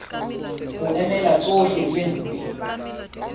ho emela tsohle tse mpe